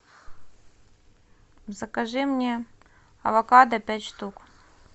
закажи мне авокадо пять штук